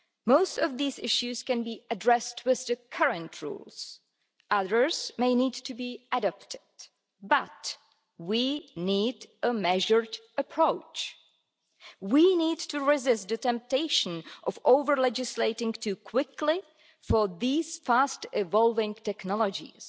Most of these issues can be addressed with the current rules others may need to be adopted, but we need a measured approach. We need to resist the temptation of over-legislating too quickly for these fast-evolving technologies.